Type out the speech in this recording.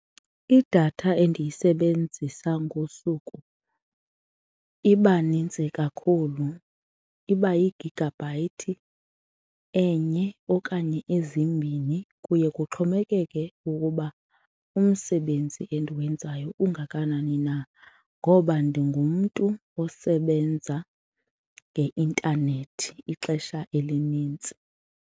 Idatha endiyisebenzisa ngosuku iba nintsi kakhulu, iba yigigabhayithi enye okanye ezimbini. Kuye kuxhomekeke ukuba umsebenzi endiwenzayo ungakanani na ngoba ndingumntu osebenza ngeintanethi ixesha elinintsi.